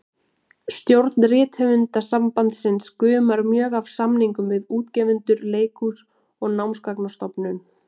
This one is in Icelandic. Stjórn Rithöfundasambandsins gumar mjög af samningum við útgefendur, leikhús og Námsgagnastofnun.